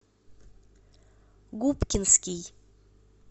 губкинский